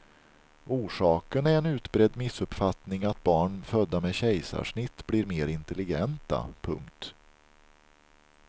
Orsaken är en utbredd missuppfattning att barn födda med kejsarsnitt blir mer intelligenta. punkt